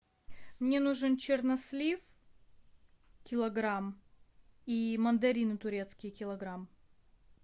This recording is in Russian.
мне нужен чернослив килограмм и мандарины турецкие килограмм